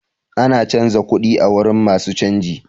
Ana canza kuɗi a wurin masu canji.